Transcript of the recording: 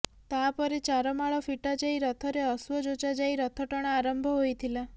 ତା ପରେ ଚାରମାଳ ଫିଟା ଯାଇ ରଥରେ ଅଶ୍ୱ ଯୋଚା ଯାଇ ରଥଟଣା ଆରମ୍ଭ ହୋଇଥିଲା